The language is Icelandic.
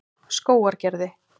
Skógargerði